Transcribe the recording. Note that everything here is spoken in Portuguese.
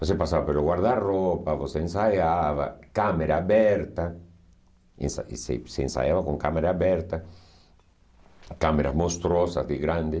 Você passava pelo guarda-roupa, você ensaiava, câmera aberta, ensa ense você ensaiava com câmera aberta, câmeras monstruosas de grande.